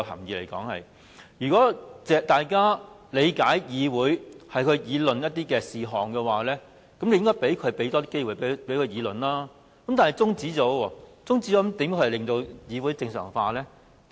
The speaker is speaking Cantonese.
如果大家理解議會是要討論不同事項，便應該多給予機會大家辯論，但他卻提出中止待續議案，這樣又如何令議會正常化呢？